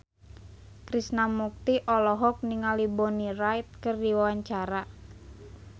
Krishna Mukti olohok ningali Bonnie Wright keur diwawancara